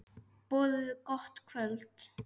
Boðið gott kvöld.